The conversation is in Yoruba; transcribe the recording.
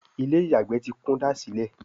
Ilé-ìyàgbé tí kúndàsílẹ̀